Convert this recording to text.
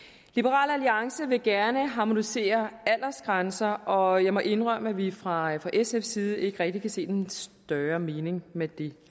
liberal alliance vil gerne harmonisere aldersgrænser og jeg må indrømme at vi fra sfs side ikke rigtig kan se den større mening med det